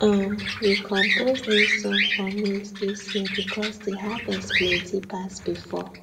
um we compose new song for maize this year because the harvest plenty pass before